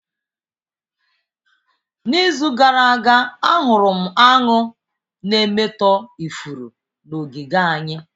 N'izu gara aga ahụrụ m aṅụ na-emetọ ifuru n'ogige anyị